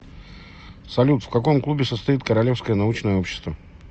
салют в каком клубе состоит королевское научное общество